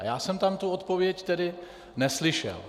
A já jsem tam tu odpověď tedy neslyšel.